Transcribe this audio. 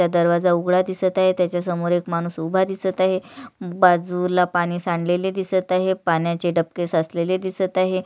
दरवाजा उघडा दिसत आहे त्याच्या समोर एक माणूस एक उभा दिसत आहे बाजूला पाणी सांडलेले दिसत आहे पाण्याचे डबके साचलेले दिसत आहे.